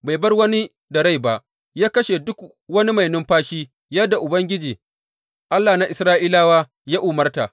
Bai bar wani da rai ba, ya kashe duk wani mai numfashi, yadda Ubangiji, Allah na Isra’ilawa ya umarta.